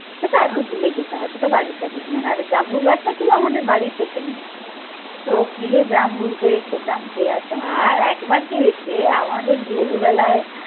সেটা আর একটু দূরে যেতে হয় সেটা বারির কাছে ছিল না। আরে জাম্বুল গাছটা ছিল আমাদের বাড়ির পেছনে। চোখ দিয়ে জামরুল পেরে খেতাম কেয়ার সময় আর একবার কি হয়েছে আমাদের ছোটবেলায়